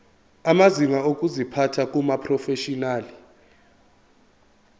amazinga okuziphatha kumaprofeshinali